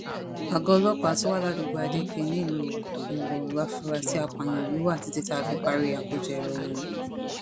àgọ́ ọlọpàá tó wà ládùúgbò adeeké nílùú iwọ lafurasí àpààyàn yìí wà títí tá a fi parí àkójọ ìròyìn yìí